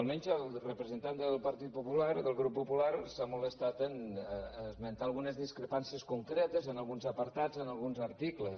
almenys el representant del partit popular del grup popular s’ha molestat a esmentar algunes discrepàn·cies concretes en alguns apartats en alguns articles